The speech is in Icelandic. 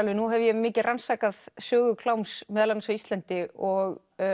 nú hef ég mikið rannsakað sögu kláms meðal annars á Íslandi og